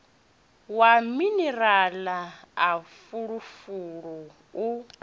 wa minirala na fulufulu u